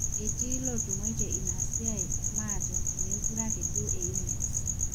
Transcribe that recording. etii sii ilootung'waitie ina siiaai maate meekure ake duo eyieu nees